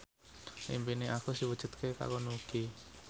impine Agus diwujudke karo Nugie